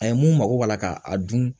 A ye mun mako b'a la k'a dun